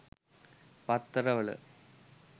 පත්තර වල